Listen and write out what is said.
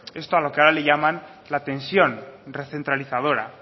esto a lo que ahora le llaman la tensión recentralizadora